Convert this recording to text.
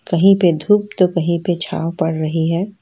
कहीं पे धूप तो कहीं पे छांव पड़ रही है।